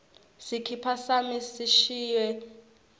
sikipa sami sishiswe yiayina